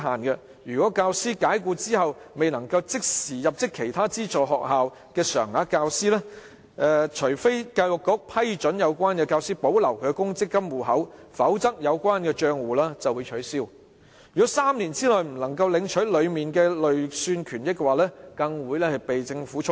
若教師遭解僱後，未能即時入職其他資助學校成為常額教師，除非他獲教育局批准保留公積金戶口，否則有關帳戶會被取消；若3年內未能領取公積金戶口裏的累算權益，更會被政府充公。